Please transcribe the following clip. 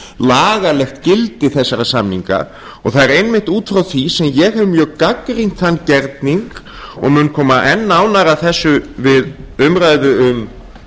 lagalegt gildi þessara samninga og það er einmitt út frá því sem ég hef mjög gagnrýnt þann gerning og mun koma enn nánar að þessu við umræðu um